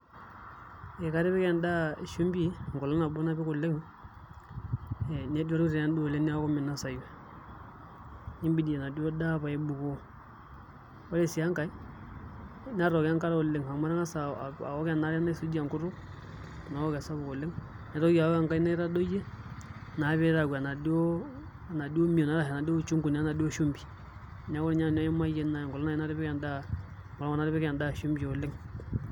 Ee katipik endaa shumbi enkolong nabo napik oleng ee neduaru taa endaa oleng' neeku minosayu nibidi enaduo daa paibukoo ore sii enkae natooko enkare oleng' amu atangasa awok enaare naisujie enkutuk nawok esapuk oleng' maitoki awok enkae naitodoyie naa pee itayu eenaduo enaaduo mion enaa duo uchungu enaduo shumbi neeeku ninye nanu ayimayie enkolong natipika endaa shumbi oleng'.